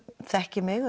þekkja mig